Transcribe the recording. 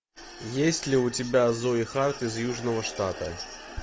есть ли у тебя зои харт из южного штата